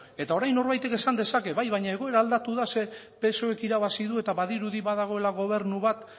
eta orain norbaitek esan dezake bai baina egoera aldatu da zer psoe k irabazi du eta badirudi badagoela gobernu bat